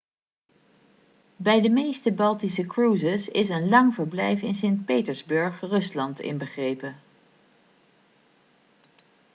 bij de meeste baltische cruises is een lang verblijf in sint petersburg rusland inbegrepen